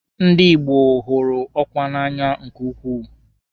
Ndi Igbo gụrụ ọkwa n'anya nke ukwuu.